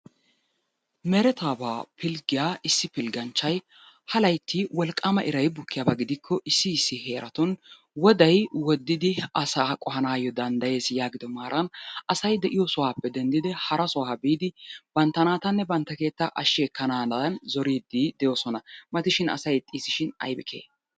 Meretaabaa pilggiya issi pilgganchchay ha laytti wolqqaama iray bukkiyaba gidikko issi issi heeratun woday woddidi asaa qohanaayyo danddayees yaagido maaran asay de'iyo sohaappe denddidi ha sohuwa biidi bantta naatanne ba keettaa ashshi ekkanaadan zoriiddi de'oosona. Gidoshin asay ixxiis shin aybi kehee?